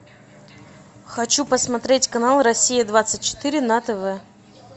хочу посмотреть канал россия двадцать четыре на тв